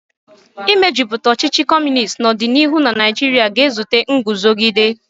Ịmejuputa ọchịchị Kọmunist n'ọdịniihu na Nigeria ga-ezute nguzogide.